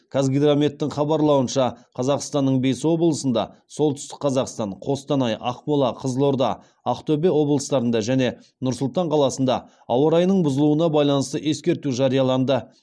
қазгидрометтің хабарлауынша қазақстанның бес облысында солтүстік қазақстан қостанай ақмола қызылорда ақтөбе облыстарында және нұр сұлтан қаласында ауа райының бұзылуына байланысты ескерту жарияланды